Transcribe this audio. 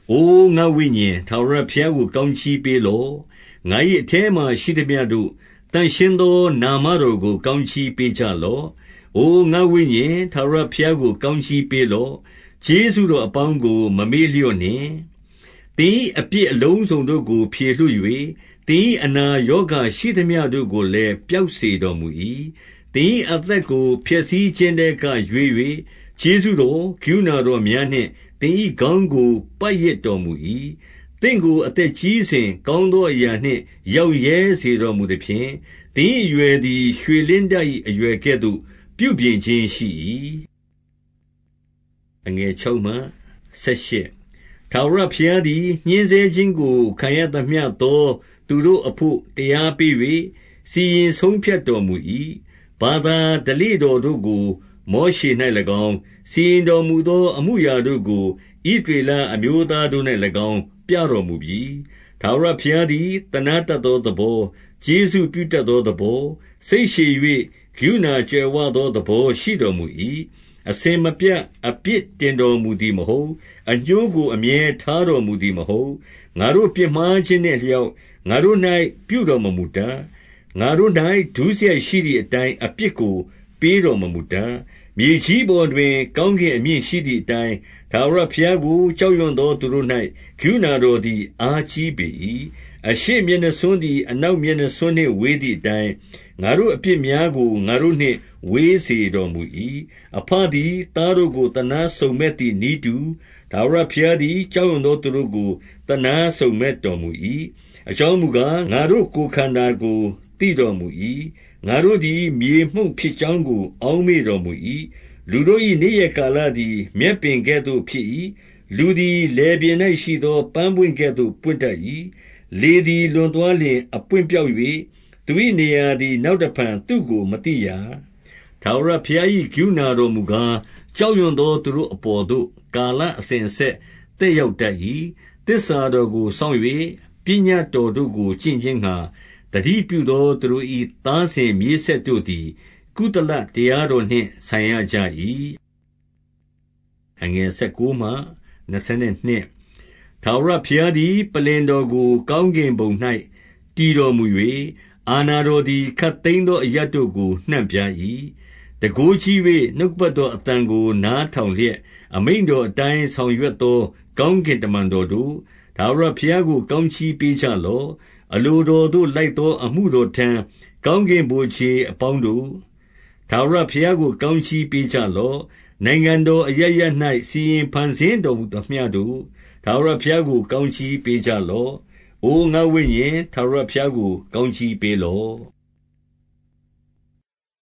အို ငါ့ဝိညာဉ်၊ ထာဝရဘုရားကို ကောင်းကြီးပေး လော့။ ငါ၏ အထဲမှာ ရှိသမျှတို့၊ သန့်ရှင်းသော နာမတော် ကို ကောင်းကြီးပေးကြလော့။ 2 အို ငါ့ဝိညာဉ်၊ ထာဝရဘုရားကို ကောင်းကြီး ပေးလော့။ ကျေးဇူးတော်အပေါင်းကို မမေ့လျော့နှင့်။ 3 သင်၏အပြစ်အလုံးစုံတို့ကို ဖြေလွှတ်၍၊ သင်၏ အနာရောဂါရှိသမျှတို့ကိုလည်း ပျောက်စေတော်မူ၏။ 4 သင်၏အသက်ကို ဖျက်ဆီးခြင်းထဲက ရွေး၍ ကျေးဇူးတော်၊ ကရုဏာတော်များနှင့် သင်၏ခေါင်းကို ပတ်ရစ်တော်မူ၏။ 5 သင့်ကို အသက်ကြီးစဉ်၊ ကောင်းသောအရာနှင့် ရောင့်ရဲစေတော်မူသဖြင့်၊ သင်၏အရွယ်သည် ရွှေလင်းတ ၏အရွယ်ကဲ့သို့ ပြုပြင်ခြင်းရှိ၏။ 6 ထာဝရဘုရားသည် ညှဉ်းဆဲခြင်းကို ခံရသမျှ သော သူတို့အဘို့ တရားပေး၍ စီရင်ဆုံးဖြတ်တော်မူ၏။ 7 ဘာသာဓလေ့တော်တို့ကို မောရှေ၌၎င်း၊ စီရင် တော်မူသော အမှုအရာတို့ကို ဣသရေလအမျိုးသားတို့၌ ၎င်း ပြတော်မူပြီ။ 8 ထာဝရဘုရားသည် သနားတတ်သောသဘော၊ ကျေးဇူးပြုတတ်သောသဘော၊ စိတ်ရှည်၍၊ ကရုဏာ ကြွယ်ဝသော သဘောရှိတော်မူ၏။ 9 အစဉ်မပြတ် အပြစ်တင်တော်မူသည်မဟုတ်။ အငြိုးကို အမြဲထားတော်မူသည်မဟုတ်။ 10 ငါတို့ပြစ်မှားခြင်းနှင့် အလျောက်ငါတို့၌ ပြုတော် မမူတတ်။ ငါတို့၌ ဒုစရိုက်ရှိသည်အတိုင်း အပြစ်ကို ပေးတော်မမူတတ်၊ 11 မြေကြီးပေါ်တွင် ကောင်းကင်အမြင့်ရှိသည် အတိုင်း၊ ထာဝရဘုရားကို ကြောက်ရွံသော သူတို့၌ ကရုဏာတော်သည် အားကြီးပေ၏။ 12 အရှေ့မျက်နှာစွန်းသည် အနောက်မျက်နှာစွန်း နှင့်ဝေးသည်အတိုင်း၊ ငါတို့အပြစ်များကို ငါတို့နှင့်ဝေးစေ တော်မူ၏။ 13 အဘသည်သားတို့ကို သနားစုံမက်သည်နည်းတူ၊ ထာဝရဘုရားသည် ကြောက်ရွံ့သောသူတို့ကို သနားစုံမက် တော်မူ၏။ 14 အကြောင်းမူကား၊ ငါတို့ကိုယ်ခန္ဓာကို သိတော် မူ၏။ ငါတို့သည် မြေမှုန့်ဖြစ်ကြောင်းကို အောက်မေ့တော် မူ၏။ 15 လူတို့၏ နေ့ရက်ကာလသည် မြက်ပင်ကဲ့သို့ ဖြစ်၏။ လူသည် လယ်ပြင်၌ရှိသော ပန်းပွင့်ကဲ့သို့ ပွင့် တတ်၏။ 16 လေသည် လွန်သွားလျှင် အပွင့်ပျောက်၍၊ သူ၏နေရာသည် နောက်တဖန် သူ့ကိုမသိရာ။ 17 ထာဝရဘုရား၏ကရုဏာတော်မူကား၊ ကြောက် ရွံ့သော သူတို့အပေါ်သို့ ကာလအစဉ်အဆက် သက် ရောက်တတ်၏။ 18 သစ္စာတော်ကိုစောင့်၍ ပညတ်တော်တို့ကို ကျင့် ခြင်းငှါ၊ သတိပြုသောသူတို့၏ သားစဉ်မြေးဆက်တို့သည် ကုသလတရားတော်နှင့် ဆိုင်ရကြ၏။ 19 ထာဝရဘုရားသည် ပလ္လင်တော်ကို ကောင်း ကင်ဘုံ၌ တည်တော်မူ၍၊ အာဏာတော်သည် ခပ်သိမ်း သော အရပ်တို့ကို နှံ့ပြား၏။ 20 တန်ခိုးကြီး၍ နှုတ်ကပတ်တော်အသံကို နား ထောင်လျက်၊ အမိန့်တော်အတိုင်း ဆောင်ရွက်သော ကောင်းကင်တမန်တော်တို့၊ ထာဝရဘုရားကို ကောင်းကြီး ပေးကြလော့။ 21 အလိုတော်သို့လိုက်သော အမှုတော်ထမ်း၊ ကောင်းကင်ဗိုလ်ခြေတော်အပေါင်းတို့၊ ထာဝရဘုရားကို ကောင်းကြီးပေးကြလော့။ 22 နိုင်ငံတော်အရပ်ရပ်၌ စီရင်ဖန်ဆင်းတော်မူ သမျှတို့၊ ထာဝရဘုရားကို ကောင်းကြီးပေးကြလော့။ အို ငါ့ဝိညာဉ်၊ ထာဝရဘုရားကို ကောင်းကြီးပေးလော့။